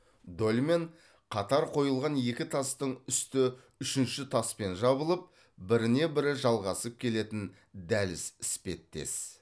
дольмен қатар қойылған екі тастың үсті үшінші таспен жабылып біріне бірі жалғасып келетін дәліз іспеттес